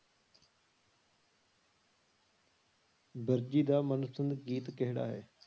ਵਰਜੀ ਦਾ ਮਨਪਸੰਦ ਗੀਤ ਕਿਹੜਾ ਹੈ?